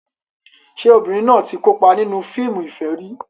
Ṣé obìnrin náà ti kópa nínú fíìmù ìfẹ́ rí?